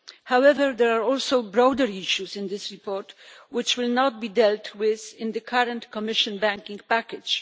However, there are also broader issues in this report which will not be dealt with in the current Commission banking package.